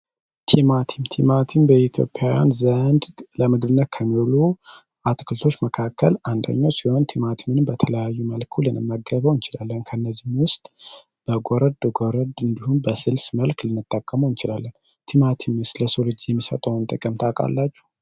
ቲማቲማቲም በኢትዮጵያ ዘንድ ለምድር መካከል አንደኛ ወንድማችን በተለያዩ መልኩ ለመገበው እንችላለን ከእነዚህ እንዲሁም በስልስ መልክ እንችላለን ቲማቲም ለሰው ልጅ የሚሰጠውን ታውቃላችሁ